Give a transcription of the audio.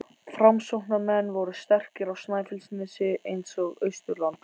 Framsóknarmenn voru sterkir á Snæfellsnesi eins og á Austurlandi.